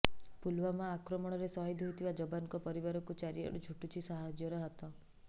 ପୁଲୱାମା ଆକ୍ରମଣରେ ସହିଦ୍ ହୋଇଥିବା ଯବାନଙ୍କ ପରିବାରକୁ ଚାରିଆଡୁ ଛୁଟୁଛି ସାହାଯ୍ୟର ହାତ